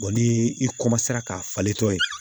ni i ka falentɔ ye